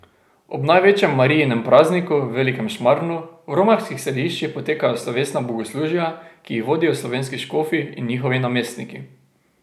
Ob največjem Marijinem prazniku, velikem šmarnu, v romarskih središčih potekajo slovesna bogoslužja, ki jih vodijo slovenski škofi in njihovi namestniki.